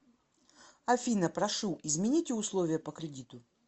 афина прошу измените условия по кредиту